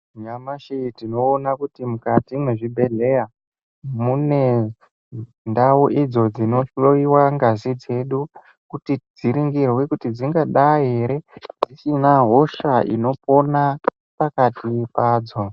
Nyamashi tinoona kuti mukati mwezvibhehleya mune ndau dzinohlowiwa ngazi dzedu kuti dziningirwe kuti dzingadai ere dzisina hosha unopona pakati padzo.